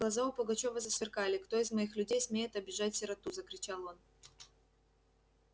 глаза у пугачёва засверкали кто из моих людей смеет обижать сироту закричал он